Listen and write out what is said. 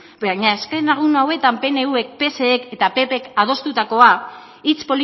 baina azken egun hauetan pnvk psek eta ppk adostutakoa hitz